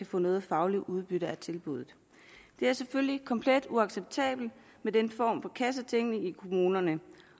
få noget fagligt udbytte af tilbuddet det er selvfølgelig komplet uacceptabelt med den form for kassetænkning i kommunerne